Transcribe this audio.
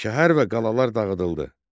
Şəhər və qalalar dağıdıldı.